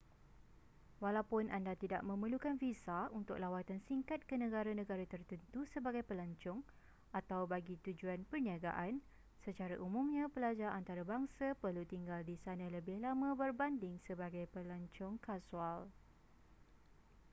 walaupun anda tidak memerlukan visa untuk lawatan singkat ke negara-negara tertentu sebagai pelancong atau bagi tujuan perniagaan secara umumnya pelajar antarabangsa perlu tinggal di sana lebih lama berbanding sebagai pelancong kasual